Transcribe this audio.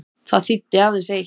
Það þýddi aðeins eitt.